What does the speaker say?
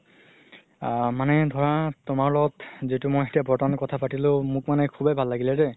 আ মানে ধৰা তুমাৰ লগত যিতো মই এতিয়া বৰ্তমান কথা পাতিলো মোক মানে শুবেই ভাল লাগিলে দেই